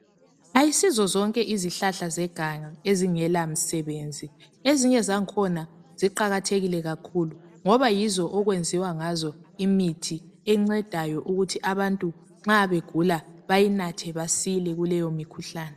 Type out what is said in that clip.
ayisizo zonke izihlahlazeganga ezingela msebenzi ezinye izihlahla ziqakathekile kakhulu ngoba yizo okwenziwa ngazo imithi encedayo ukuthi abantu nxa begula bayinathe basile kuleyo mikhuhlane